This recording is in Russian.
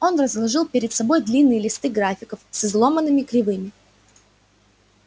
он разложил перед собой длинные листы графиков с изломанными кривыми